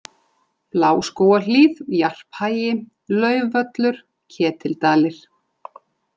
Bláskógahlíð, Jarphagi, Laufvöllur, Ketildalir